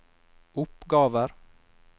oppgaver